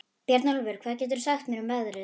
Bjarnólfur, hvað geturðu sagt mér um veðrið?